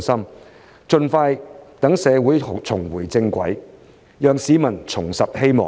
我們必須盡快讓社會重回正軌，讓市民重拾希望。